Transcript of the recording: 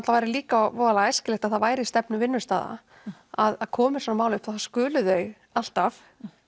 væri líka æskilegt að væri stefna vinnustaða að komi svona mál upp þá skulu þau alltaf